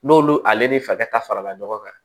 N'olu ale ni fakɛ ta farala ɲɔgɔn kan